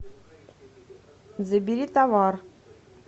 забери товар